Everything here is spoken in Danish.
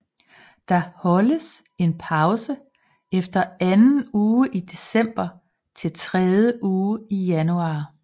Der holdes en pause efter anden uge i december til tredje uge i januar